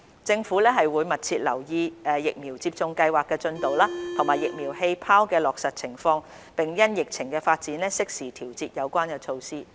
政府會密切留意疫苗接種計劃的進度及"疫苗氣泡"的落實情況，並因應疫情發展，適時調節有關措施。